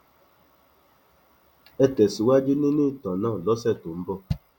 ẹ tẹsíwájú nínú ìtàn náà lọsẹ tó ń bọ